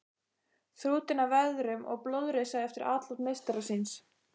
Þrútinn af veðrum og blóðrisa eftir atlot meistara síns.